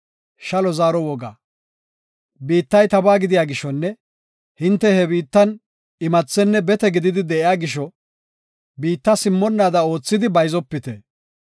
Biittay tabaa gidiya gishonne hinte he biittan imathenne bete gididi de7iya gisho biitta simmonnaada oothidi bayzopite.